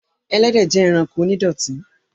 Ẹlẹ́dẹ̀ jẹ́ ẹranko onídọ̀tí